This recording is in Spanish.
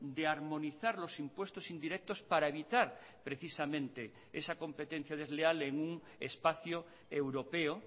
de armonizar los impuestos indirectos para evitar precisamente esa competencia desleal en un espacio europeo